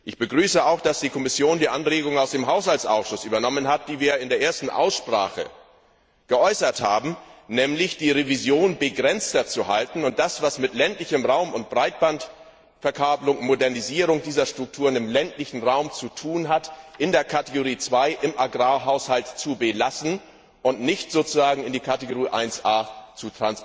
Ich begrüße auch, dass die Kommission die Anregung aus dem Haushaltsausschuss aufgegriffen hat, die wir in der ersten Aussprache gegeben haben, nämlich die Revision begrenzter zu halten und das, was mit ländlichem Raum und Breitbandverkabelung und Modernisierung dieser Strukturen im ländlichen Raum zu tun hat, in der Rubrik 2, im Agrarhaushalt, zu belassen und nicht in die Rubrik 1a zu überführen.